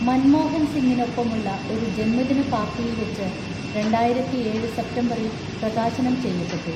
മൻമോഹൻ സിങ്ങിനൊപ്പമുള്ള ഒരു ജന്മദിനപാർട്ടിയിൽവെച്ച് രണ്ടായിരത്തിഏഴ് സെപ്തംബറിൽ പ്രകാശനം ചെയ്യപ്പെട്ടു.